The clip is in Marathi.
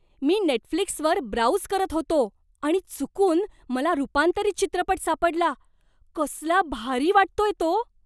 मी नेटफ्लिक्सवर ब्राउझ करत होतो आणि चुकून मला रुपांतरीत चित्रपट सापडला. कसला भारी वाटतोय तो!